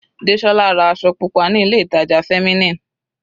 Desola ra aṣọ pupa ní ilé ìtàjà Feminine.